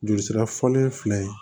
Jolisira fɔlen filɛ